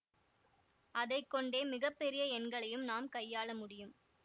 அதை கொண்டே மிக பெரிய எண்களையும் நாம் கையாள முடியும்